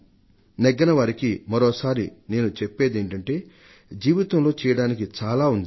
ఉత్తీర్ణులు కాని వారికి మరోసారి నేను చెప్పేదేమిటంటే జీవితంలో చేయడానికి చాలా ఉంది